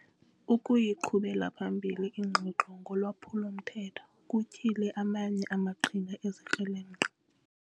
Ukuyiqhubela phambili ingxoxo ngolwaphulo-mthetho kutyhile amanye amaqhinga ezikrelemnqa.